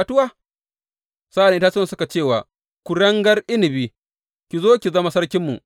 Sa’an nan itatuwan suka ce wa kuringar inabi, Ki zo ki zama sarkinmu.’